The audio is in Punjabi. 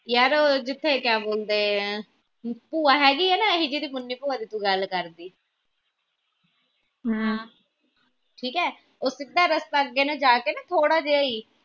ਯਾਰ ਉਹ ਜਿੱਥੇ ਕਿਆ ਬੋਲਦੇ ਆਹ ਭੂਆ ਹੇਗੀ ਆ ਨਾ ਇਹੀ ਜਿਹੜੀ ਮੁੰਨੀ ਭੂਆ ਦੀ ਤੂੰ ਗੱਲ ਕਰਦੀ ਠੀਕ ਏ ਉਹ ਸਿੱਧਾ ਰਸਤਾ ਅੱਗੇ ਨੂੰ ਜਾ ਕੇ ਨਾ ਥੋੜ੍ਹਾ ਜਿਹਾ ਈ।